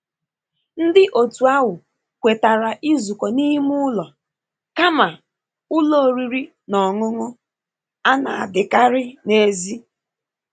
Ndị otu ahụ kwetara izuko n'ime ụlọ kama ụlọ oriri na ọṅụṅụ a na-adikari n'èzí.